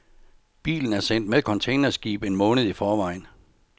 Bilen er sendt med containerskib en måned i forvejen.